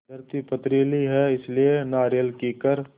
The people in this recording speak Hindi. धरती पथरीली है इसलिए नारियल कीकर